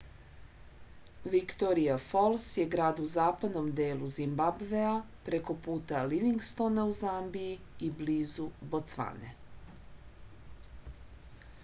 viktorija fols je grad u zapadnom delu zimbabvea preko puta livingstona u zambiji i blizu bocvane